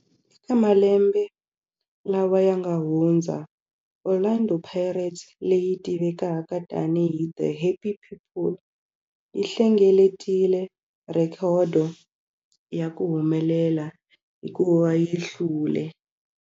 Eka malembe lawa yanga hundza, Orlando Pirates, leyi tivekaka tani hi 'The Happy People', yi hlengeletile rhekhodo ya ku humelela hikuva yi hlule